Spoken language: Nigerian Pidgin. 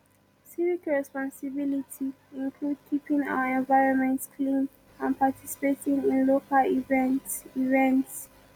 civic responsibility include keeping our environment clean and participating in local events events